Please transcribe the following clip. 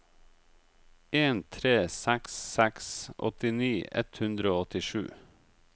en tre seks seks åttini ett hundre og åttisju